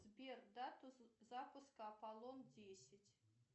сбер дату запуска аполлон десять